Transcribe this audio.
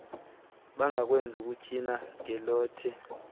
bangakwenzi ukutywina ngelothe